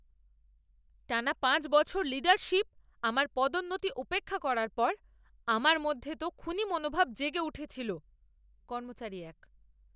টানা পাঁচ বছর লীডারশিপ আমার পদোন্নতি উপেক্ষা করার পর আমার মধ্যে তো খুনী মনোভাব জেগে উঠেছিল। কর্মচারী এক